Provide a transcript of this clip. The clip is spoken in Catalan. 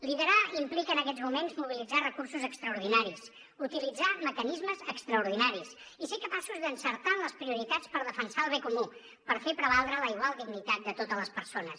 liderar implica en aquests moments mobilitzar recursos extraordinaris utilitzar mecanismes extraordinaris i ser capaços d’encertar en les prioritats per defensar el bé comú per fer prevaldre la igual dignitat de totes les persones